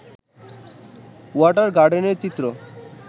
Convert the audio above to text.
water গার্ডেনের চিত্র